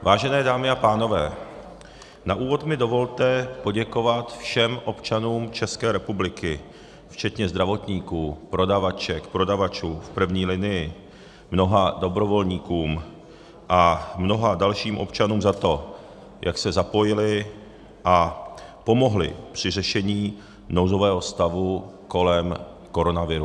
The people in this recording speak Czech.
Vážené dámy a pánové, na úvod mi dovolte poděkovat všem občanům České republiky, včetně zdravotníků, prodavaček, prodavačů v první linii, mnoha dobrovolníkům a mnoha dalším občanům za to, jak se zapojili a pomohli při řešení nouzového stavu kolem koronaviru.